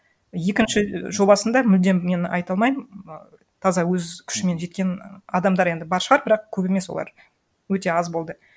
екінші жобасында мүлдем мен айта алмаймын і таза өз күшімен жеткен і адамдар енді бар шығар бірақ көп емес олар өте аз болды